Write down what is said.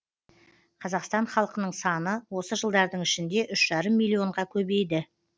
қазақстан халқының саны осы жылдардың ішінде үш жарым миллионға көбейді